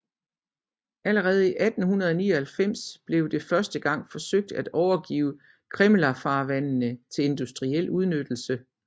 Allerede i 1899 blev det første gang forsøgt at overgive Krimmlervandfaldene til industriel udnyttelse